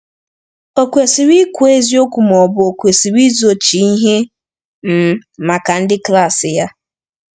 Ọ̀ kwesịrị ikwu eziokwu, ma ọ bụ o kwesịrị izochi ihe um maka ndị klas ya?